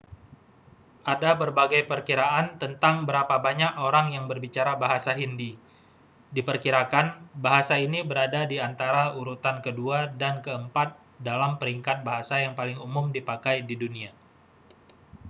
ada berbagai perkiraan tentang berapa banyak orang yang berbicara bahasa hindi diperkirakan bahasa ini berada di antara urutan kedua dan keempat dalam peringkat bahasa yang paling umum dipakai di dunia